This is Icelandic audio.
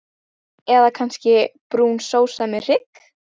Eða kannski brún sósa með hrygg?